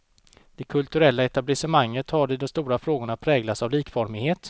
Det kulturella etablissemanget har i de stora frågorna präglats av likformighet.